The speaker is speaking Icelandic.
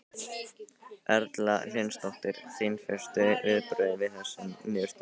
Erla Hlynsdóttir: Þín fyrstu viðbrögð við þessum niðurstöðum?